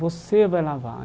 Você vai lavar.